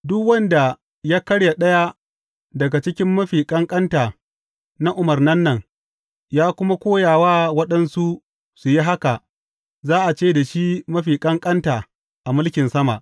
Duk wanda ya karya ɗaya daga cikin mafi ƙanƙanta na umarnan nan, ya kuma koya wa waɗansu su yi haka, za a ce da shi mafi ƙanƙanta a mulkin sama.